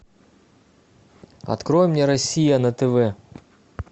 открой мне россия на тв